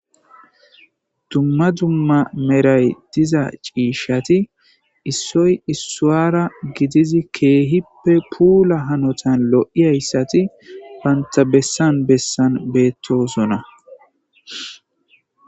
Duma duma medhayi diza cishshati isoyi isuwara kehipe pulla lo'zayisati banitta bessani bessani betosona.